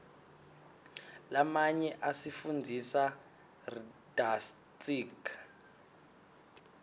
lamanyo asifundzisa rdatsitg